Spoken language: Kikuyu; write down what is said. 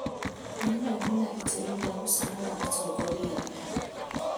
We nĩwe wĩna itemi rĩa gũcagũra atongoria eega